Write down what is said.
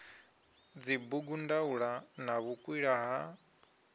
dzibugu ndaula na vhukwila ha